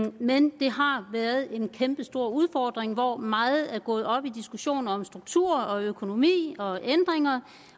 men det har været en kæmpestor udfordring hvor meget er gået op i diskussion om struktur og økonomi og ændringer